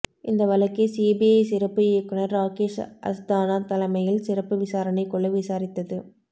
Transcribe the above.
இந்த வழக்கை சிபிஐ சிறப்பு இயக்குனர் ராகேஷ் அஸ்தானா தலைமையில் சிறப்பு விசாரணை குழு விசாரித்தது